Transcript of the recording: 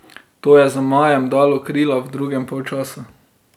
To je zmajem dalo krila v drugem polčasu.